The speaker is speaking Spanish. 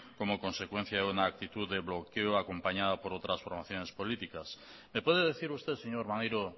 como consecuencia de una actitud de bloqueo acompañada por otras formaciones políticas me puede decir usted señor maneiro